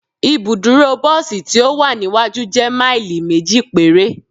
Ibuduro bosi ti o wa niwaju jẹ maili meji pere